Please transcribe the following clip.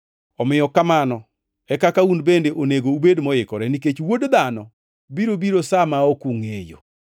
Omiyo kamano e kaka un bende onego ubed moikore, nikech Wuod Dhano biro biro sa ma ok ungʼeyo.”